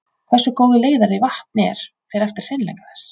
Hversu góður leiðari vatn er fer eftir hreinleika þess.